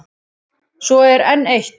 Svo er enn eitt.